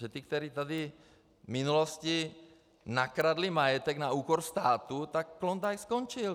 Že ti, kteří tady v minulosti nakradli majetek na úkor státu, tak Klondike skončil.